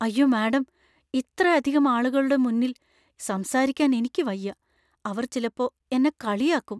അയ്യോ മാഡം, ഇത്രയധികം ആളുകളുടെ മുന്നിൽ സംസാരിക്കാൻ എനിക്ക് വയ്യാ. അവർ ചിലപ്പോ എന്നെ കളിയാക്കും.